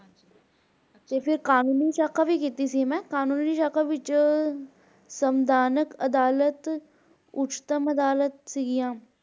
ਤੇ ਫਿਰ ਕਾਨੂੰਨੀ ਸਾਖਾ ਵੀ ਕੀਤੀ ਸੀ ਮੈਂ ਕਾਨੂੰਨੀ ਸਾਖਾ ਵਿਚ ਅਦਾਲਤ ਸਿਗੀਆਂ l